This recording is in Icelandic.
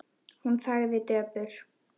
Hún þagði döpur.